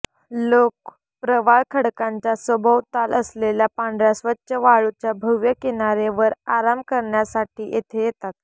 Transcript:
लोक प्रवाळ खडकांच्या सभोवताल असलेल्या पांढऱ्या स्वच्छ वाळूच्या भव्य किनारे वर आराम करण्यासाठी येथे येतात